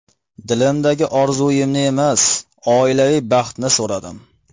Dilimdagi orzumni emas, oilaviy baxtni so‘radim.